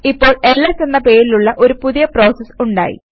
ഇപ്പോൾ എൽഎസ് എന്ന പേരിലുള്ള ഒരു പുതിയ പ്രോസസ് ഉണ്ടായി